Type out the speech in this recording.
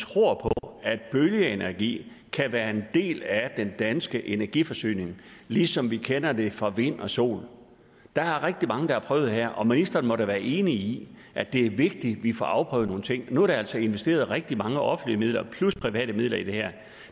tror på at bølgeenergi kan være en del af den danske energiforsyning ligesom vi kender det fra vind og sol der er rigtig mange der har prøvet det her og ministeren må da være enig i at det er vigtigt at vi får afprøvet nogle ting nu er der altså investeret rigtig mange offentlige midler plus private midler i det her og